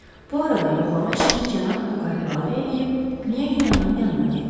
Bu arada yoxlama işini cənab Buka həvalə eləyib Qniyanın yanına getdi.